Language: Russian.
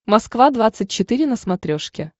москва двадцать четыре на смотрешке